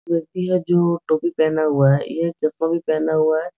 व्यक्ति है जो टोपी पहना हुआ है। ये एक चश्मा भी पहना हुआ है।